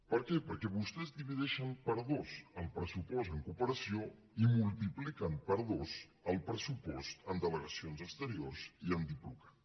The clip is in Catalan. per què perquè vostès divideixen per dos el pressupost en cooperació i multipliquen per dos el pressupost en delegacions exteriors i en diplocat